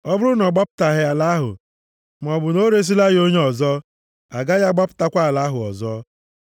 Ọ bụrụ na ọ gbapụtaghị ala ahụ, maọbụ na o resila ya onye ọzọ, a gaghị agbapụtakwa ala ahụ ọzọ.